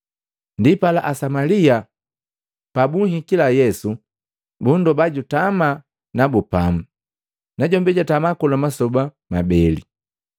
Ndipala Asamalia pabuhikila Yesu, bundoba jutama nabu pamu, najombi jatama kola masoba mabele.